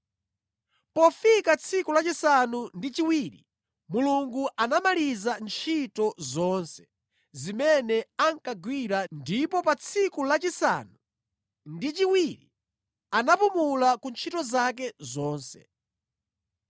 Pofika tsiku lachisanu ndi chiwiri Mulungu anamaliza ntchito zonse zimene ankagwira ndipo pa tsiku lachisanu ndi chiwiri anapumula ku ntchito zake zonse.